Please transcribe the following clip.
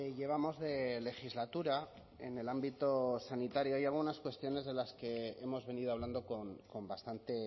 llevamos de legislatura en el ámbito sanitario hay algunas cuestiones de las que hemos venido hablando con bastante